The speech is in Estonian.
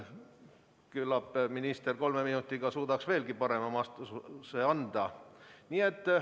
Küllap suudaks minister anda kolme minutiga veelgi parema vastuse.